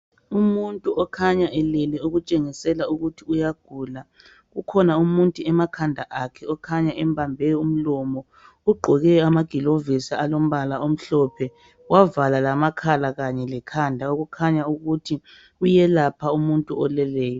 Umuntu okhanya elele okutshengisela ukuthi uyagula. Kukhona umuntu emakhanda akhe okhanya embambe umlomo ugqoke amagilovisi alombala omhlophe wavala lamakhala kanye lekhanda okukhanya ukuthi uyelapha umuntu oleleyo.